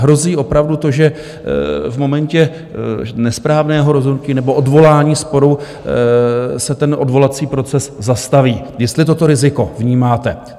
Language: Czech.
Hrozí opravdu to, že v momentě nesprávného rozhodnutí nebo odvolání sporu se ten odvolací proces zastaví, jestli toto riziko vnímáte.